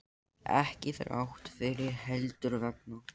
Jón Þorláksson, verkfræðingur, gerði frumdrög að háskólabyggingu